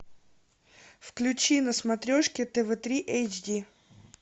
включи на смотрешке тв три эйч ди